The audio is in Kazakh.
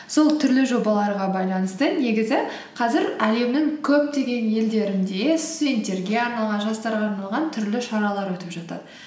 сол түрлі жобаларға байланысты негізі қазір әлемнің көптеген елдерінде студенттерге арналған жастарға арналған түрлі шаралар өтіп жатады